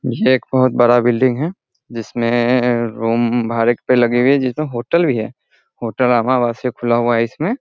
ये एक बहुत बड़ा बिल्डिंग है जिसमें रूम भाड़े पर लगी हुई है जिसमें होटल भी है होटल खुला हुआ है इसमें।